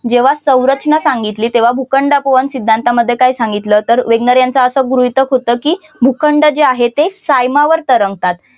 जेव्हा संरचना सांगितली तेव्हा भूखंड अपवन सिद्धांतामध्ये काय सांगितलं तर वॅगनार यांचं असं गृहीतक होतं की भूखंड जे आहे ते सायमा वर तरंगतात.